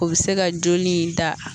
O be se ka joli in da